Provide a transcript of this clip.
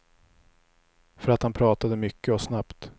För att han pratade mycket och snabbt.